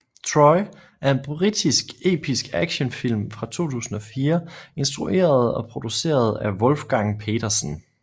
Troy er en britisk episk actionfilm fra 2004 instrueret og produceret af Wolfgang Petersen